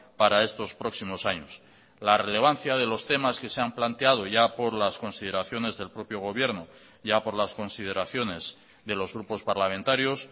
para estos próximos años la relevancia de los temas que se han planteado ya por las consideraciones del propio gobierno ya por las consideraciones de los grupos parlamentarios